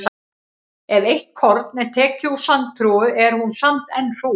Ef eitt korn er tekið úr sandhrúga er hún samt enn hrúga.